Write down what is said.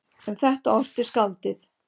Um þetta orti skáldið